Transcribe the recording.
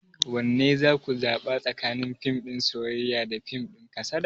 Wanne za ku zaɓa tsakanin fim din soyayya da fim din kasada?